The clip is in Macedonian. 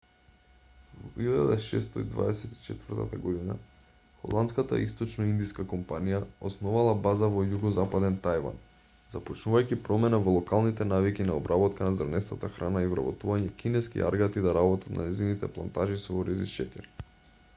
во 1624 година холандската источноиндиска компанија основала база во југозападен тајван започнувајќи промена во локалните навики на обработка на зрнестата храна и вработување кинески аргати да работат на нејзините плантажи со ориз и шеќер